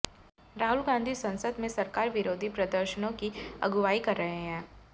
राहुल गांधी संसद में सरकार विरोधी प्रदर्शनों की अगुवाई कर रहे हैं